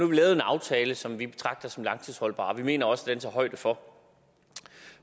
vi lavet en aftale som vi betragter som langtidsholdbar og vi mener også den tager højde for